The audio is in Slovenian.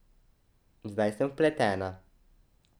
Zdaj sem vpletena.